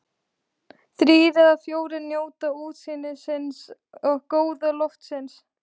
Þrír eða fjórir njóta útsýnisins og góða loftsins.